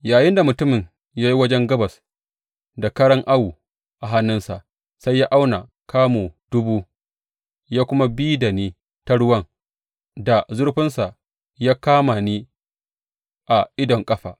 Yayinda mutumin ya yi wajen gabas da karan awo a hannunsa, sai ya auna kamu dubu ya kuma bi da ni ta ruwan da zurfinsa ya kama ni a idon ƙafa.